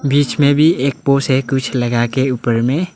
बीच में भी एक पोस है लगा के ऊपर में।